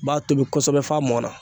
B'a tobi kosɛbɛ f'a mɔnna